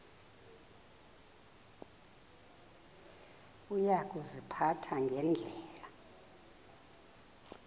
uya kuziphatha ngendlela